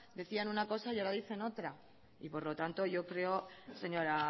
decían una cosa y ahora dicen otra y por lo tanto yo creo señora